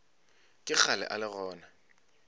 ke kgale o le gona